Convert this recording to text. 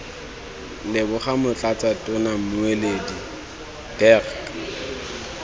leboga motlatsa tona mmueledi dirk